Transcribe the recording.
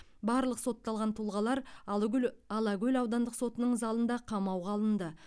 барлық сотталған тұлғалар алагөл алакөл аудандық сотының залында қамауға алынды